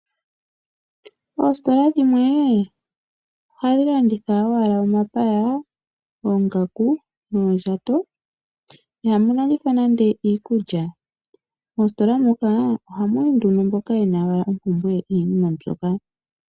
Oositola dhimwe ohadhi landitha owala omapaya, oongaku noondjato ihamu landithwa nande iikulya. Moositola moka ohamu yi nduno mboka ye na owala ompumbwe yiinima mbyoka.